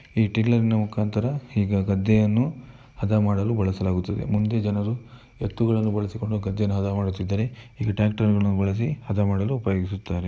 ಈ ಟಿಲ್ಲರ್‌ನ ಮುಖಾಂತರ ಈ ಗದ್ದೆಯನ್ನು ಹದಾ ಮಾಡಲು ಬಳಸಲಾಗುತ್ತದೆ ಮುಂದೆ ಜನರು ಎತ್ತುಗಳನ್ನು ಬಳಸಿಕೊಂಡು ಗದ್ದೆಯನ್ನು ಹದಾ ಮಾಡುತ್ತಿದ್ದರೆ ಈಗ ಟ್ಯಾಕ್ಟರ್‌ಗಳನ್ನು ಬಳಸಿ ಹದ ಮಾಡಲು ಉಪಯೋಗ ಸುತ್ತಾರೆ.